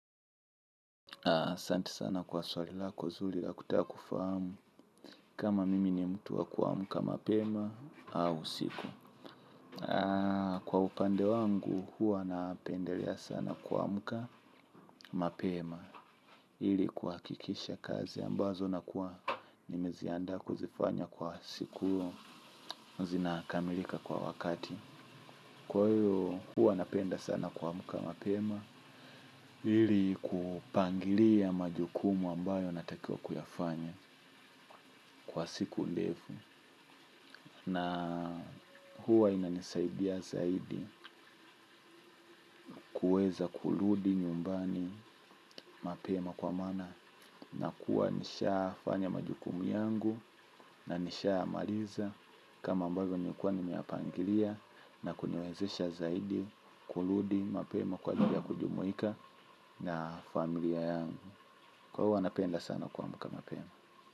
Asanti sana kwa swali lako zuri la kutakufamu kama mimi ni mtu wa kuamka mapema au usiku. Kwa upande wangu, huwa napendelea sana kuamka mapema ili kuhakikisha kazi ambazo nakuwa nimeziandaa kuzifanya kwa siku huo zinakamilika kwa wakati. Kwa hiyo huwa napenda sana kuamka mapema ili kupangilia majukumu ambayo yanatakiwa kuyafanya kwa siku ndefu na huwa inanisaidia zaidi kuweza kurudi nyumbani mapema kwa maana nakuwa nishafanya majukumu yangu na nishamaliza. Kama ambazo nimekuwa nimeyapangilia na kuniwezesha zaidi kurudi mapema kwa ajili ya kujumuika na familia yangu kwa huwa napenda sana kuamka mapema.